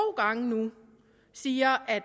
gange nu siger at